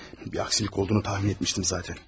Bir əksilik olduğunu təxmin etmişdim zatən.